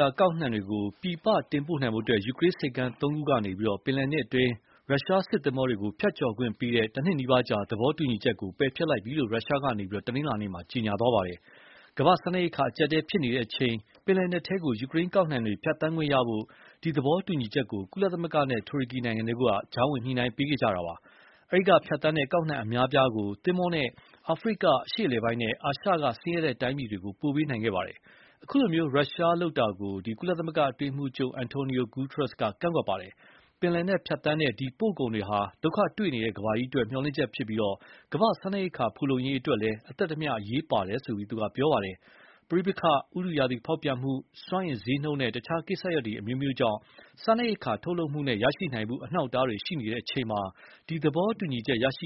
ကကောက်နှံတွေကို ပြည်ပတင်ပို့နိုင်ဖို့ ယူကရိန်းဆိပ်ကမ်းသုံးခုကနေ ပင်လယ်နက်အတွင်း ရုရှားစစ်သင်္ဘောတွေကို ဖြတ်ကျော်ခွင့်ပြုတဲ့ တနှစ်နီးပါးကြာ သဘောတူညီချက်ကို ပယ်ဖျက်လိုက်ပြီလို့ ရုရှားက တနင်္လာနေ့မှာ ကြေညာပါတယ်။ ကမ္ဘာ့စားနပ်ရိက္ခာအကျပ်အတည်းဖြစ်နေတဲ့အချိန် ပင်လယ် နက်ထဲယူကရိန်းကောက်နှံတွေ ဖြတ်သန်းခွင့်ရဖို့ ဒီသဘောတူညီချက်ကို ကုလသမဂ္ဂနဲ့ တူရကီနိုင်ငံတို့က ကြားဝင်ညှိုနှိုင်းပေးခဲ့တာပါ။ အဲဒီက ဖြတ်သန်းတဲ့ကောက်နှံအများအပြားကို သင်္ဘောနဲ့ အာဖရိက အရှေ့အလယ်ပိုင်းနဲ့ အာရှက ဆင်းရဲတဲ့တိုင်းပြည်တွေကို ပို့ပေးနိုင်ခဲ့ပါတယ်။ အခုလို ရုရှားလုပ်ရပ်ကို ကုလသမဂ္ဂ အတွင်းရေးမှုးချုပ် Antonio Guterres က ကန့်ကွက်ပါတယ်။ ပင်လယ်နက်ဖြတ်သန်းတဲ့ ဒီပို့ကုန်တွေဟာ ဒုက္ခတွေ့နေတဲ့ ကမ္ဘာအတွက် မျှော်လင့်ချက်ဖြစ်ပြီး၊ ကမ္ဘာ့စားနပ်ရိက္ခာဖူလုံရေးအတွက်လည်း အသက်တမျှ အရေးပါတယ်လို့ ပြောပါတယ်။ “ပဋိပက္ခ၊ ဥတုရာသီဖောက်ပြန်မှု၊ စွမ်းအင်ဈေးနှုန်းနဲ့ တခြားကိစ္စတွေကြောင့် စားနပ်ရိက္ခာ ထုတ်လုပ်မှုနဲ့ ရရှိနိုင်မှု အနှောက်အတားတွေရှိနေချိန်မှာ ဒီသဘောတူညီချက်ကြောင့်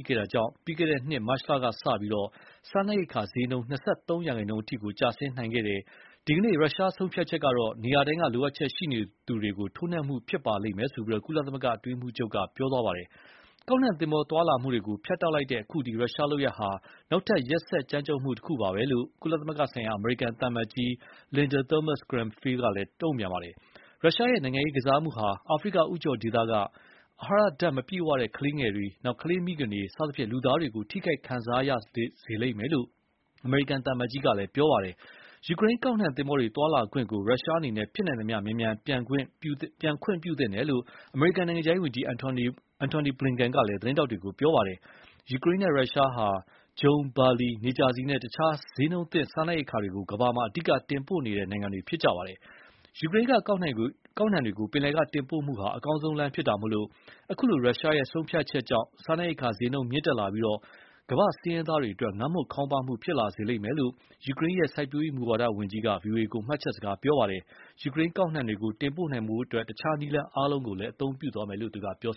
ပြီးခဲ့တဲ့နှစ်မတ်လကစလို့ စားနိပ်ရိက္ခာဈေးနှုန်း၂၃ ရာခိုင်နှုန်းကျော်အထိ ကျဆင်းခဲ့ပါတယ်။ ဒီကနေ့ ရုရှားဆုံးဖြတ်ချက်ဟာ နေရာတိုင်းက လိုအပ်ချက်ရှိနေသူတွေကို ထိုးနှက်မှုဖြစ်ပါလိမ့်မယ်လို့ ကုလ အတွင်းရေးမှုးချုပ်က ပြောပါတယ်။ ကောက်နှံသင်္ဘောသွားလာမှုတွေကို ဖြတ်တောက်လိုက်တဲ့ အခုရုရှားလုပ်ရပ်ဟာ နောက်ထပ် ရက်စက် ကြမ်းကြုတ်မှုတခုပါပဲလို့ ကုလသမဂ္ဂဆိုင်ရာ အမေရိကန်သံအမတ်ကြီး Linda Thomas-Greenfield ကလည်း ဝေဖန်တုန့်ပြန်ပါတယ်။ “ရုရှားရဲ့ နိုင်ငံရေးကစားမှုဟာ အာဖရိကဦးချိုဒေသက အဟာရဓါတ် မပြည့်ဝတဲ့ကလေးတွေ၊ ကလေးမိခင်တွေ စသဖြင့်လူသားတွေ ထိခိုက်ခံစားရလိမ့်မယ်”လို့ အမေရိကန် သံအမတ်ကြီးကပြောပါတယ်။ ယူကရိန်းကောက်နှံသင်္ဘောတွေ သွားလာခွင့်ကို ရုရှားအနေနဲ့ ဖြစ်နိုင်သမျှမြန်မြန် ပြန်ခွင့်ပြုသင့်တယ်လို့ အမေရိကန်နိုင်ငံခြားရေးဝန်ကြီး Antony Blinken ကလည်း သတင်းထောက်တွေကို ပြောပါတယ်။ ယူကရိန်းနဲ့ရုရှားဟာ ဂျုံ၊ ဘာလီ၊ နေကြာဆီနဲ့ တခြားဈေးနှုန်းသင့်စားနပ်ရိက္ခာတွေကို ကမ္ဘာမှာ အဓိက တင်ပို့နေတဲ့နိုင်တွေဖြစ်ပါတယ်။ ယူကရိန်းက ကောက်နှံတွေကို ပင်လယ်ကတင်ပို့မှုဟာ အကောင်းဆုံးလမ်းဖြစ်တာမို့ အခု ရုရှားရဲ့ဆုံး ဖြတ်ချက်ကြောင့် စားနပ်ရိက္ခာဈေးနှုန်းတွေ မြင့်တက်လာပြီး ကမ္ဘာ့ဆင်းရဲသားတွေအတွက် ငတ်မွတ် ခေါင်းပါးမှုဖြစ်လာစေမယ်လို့ ယူကရိန်းရဲ့ စိုက်ပျိုးရေးမူဝါဒဝန်ကြီးကဗွီအိုအေကို မှတ်ချက်စကား ပြောပါတယ်။ ယူကရိန်းကောက်နှံတွေကို တင်ပို့နိုင်ဖို့ တခြားနည်းလမ်းအားလုံး အသုံးပြုသွားမယ် လို့လည်းပြော